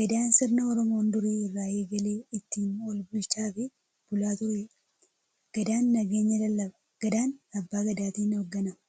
Gadaan sirna Oromoon duri irraa eegalee ittiin walbulchaafi bulaa tureedha. Gadaan nageenya lallaba. Gadaan abbaa gadaatin hoogganama.